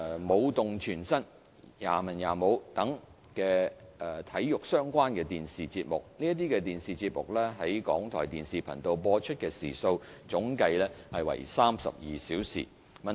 "、"舞動全身"、"也文也武"等與體育相關的電視節目，這些電視節目於港台電視頻道播出時數總計為32小時。